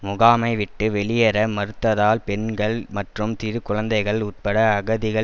முகாமை விட்டு வெளியேற மறுத்ததால் பெண்கள் மற்றும் சிறு குழந்தைகள் உட்பட அகதிகள்